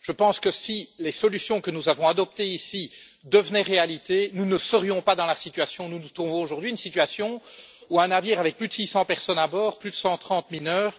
Je pense que si les solutions que nous avons adoptées ici devenaient réalité, nous ne serions pas dans la situation dans laquelle nous nous trouvons aujourd'hui une situation où un navire avec plus de 600 personnes à bord, dont plus de 130 mineurs,